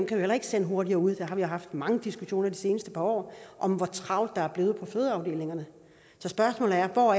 kan vi heller ikke sende hurtigere ud og vi har haft mange diskussioner de seneste par år om hvor travlt der er blevet på fødeafdelingerne så spørgsmålet er hvor